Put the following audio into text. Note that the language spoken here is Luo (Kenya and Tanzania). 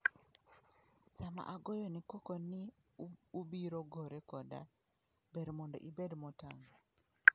Sama agoyoni koko ni ubiro gore koda, ber mondo ibed motang'".